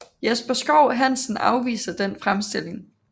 Jesper Schou Hansen afviser den fremstilling